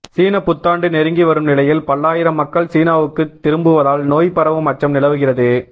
சீனப் புத்தாண்டு நெருங்கி வரும் நிலையில் பல்லாயிரம் மக்கள் சீனாவுக்குத் திரும்புவதால் நோய் பரவும் அச்சம் நிலவுகிறது